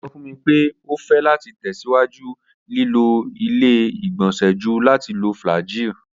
O sọ fun mi pe o fẹ lati tẹsiwaju lilo ile-igbọnsẹ ju lati lo flagyl